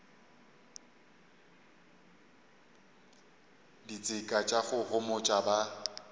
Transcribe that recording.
ditseka tša go homotša ba